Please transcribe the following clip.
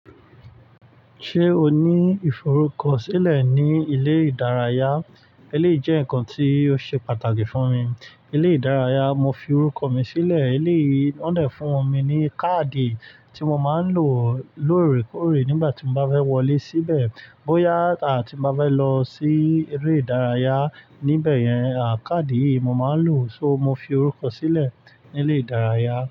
Ṣé o ní ìforúkọ sílẹ̀ ní ilé ìdárayá? Eléyìí jẹ́ nǹkan tí ó ṣe pàtàkì fún mi. Ilé ìdárayá, mo fi orúkọ mi sílẹ̀. Eléyìí, wọ́n dà fún mi ní káàdì tí mo máa ń lò lóòrèkóòrè nígbà tí mo bá fẹ́ wọlé síbẹ̀. Bóyá àti tí mo bá fẹ́ lọ sí eré ìdárayá níbẹ̀ yẹn, à káàdì yìí mo máa ń lò. So mo fi orúkọ sílẹ̀ ní ilé ìdárayá.